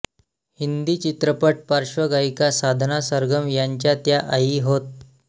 हिंदी चित्रपट पार्श्वगायिका साधना सरगम यांच्या त्या आई होत